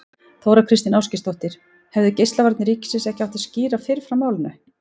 Þóra Kristín Ásgeirsdóttir: Hefðu Geislavarnir ríkisins ekki átt að skýra fyrr frá málinu?